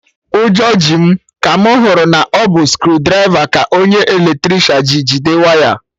Ụjọ ji m ka mụ hụrụ na ọ bụ screwdriver ka onye Eletricịanji jide waya